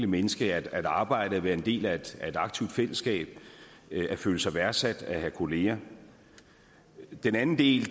menneske at arbejde og være en del af et aktivt fællesskab at føle sig værdsat at have kolleger den anden del